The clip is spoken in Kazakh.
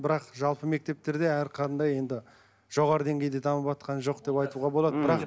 бірақ жалпы мектептерде әрқандай енді жоғары деңгейде дамыватқан жоқ деп айтуға болады м